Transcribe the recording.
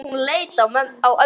Hún leit á ömmu.